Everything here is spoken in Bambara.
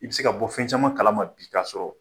I bɛ se ka bɔ fɛn caman kalama bi ka sɔrɔ